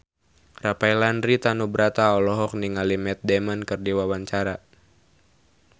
Rafael Landry Tanubrata olohok ningali Matt Damon keur diwawancara